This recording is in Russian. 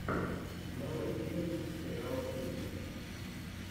нарой челлендж сериала кухня